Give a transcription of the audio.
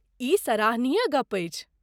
ई सराहनीय गप्प अछि।